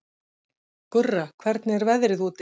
Gurra, hvernig er veðrið úti?